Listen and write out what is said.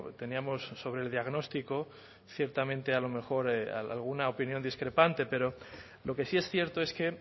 teníamos sobre el diagnóstico ciertamente a lo mejor alguna opinión discrepante pero lo que sí es cierto es que